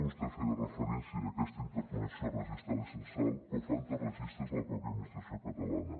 vostè feia referència a aquesta interconnexió registral i censal però falten registres de la pròpia administració catalana